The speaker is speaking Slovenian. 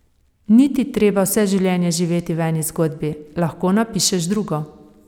Ni ti treba vse življenje živeti v eni zgodbi, lahko napišeš drugo.